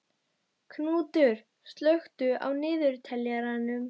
Knútur, slökktu á niðurteljaranum.